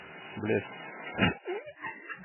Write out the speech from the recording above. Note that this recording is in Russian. блесс